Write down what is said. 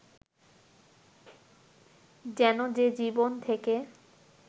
যেন যে জীবন থেকে